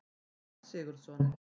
Páll Sigurðsson.